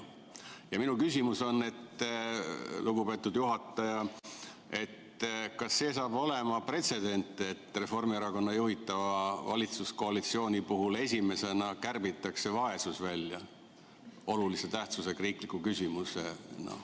Ja minu küsimus on, lugupeetud juhataja, kas sellest saab pretsedent, et Reformierakonna juhitava valitsuskoalitsiooni puhul kärbitakse esimesena välja vaesus, olulise tähtsusega riikliku küsimusena?